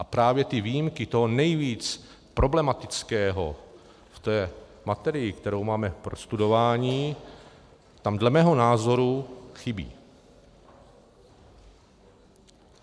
A právě ty výjimky toho nejvíc problematického v té materii, kterou máme k prostudování, tam dle mého názoru chybí.